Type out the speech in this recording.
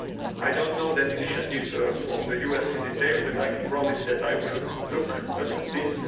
I do not know that initiative from the US in detail, but I can promise that I will look at this.